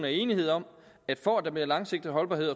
er enighed om at for at der bliver langsigtet holdbarhed